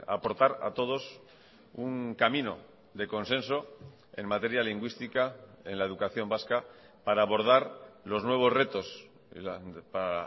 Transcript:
aportar a todos un camino de consenso en materia lingüística en la educación vasca para abordar los nuevos retos para